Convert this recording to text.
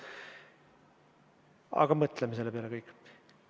Aga mõtleme selle peale kõik.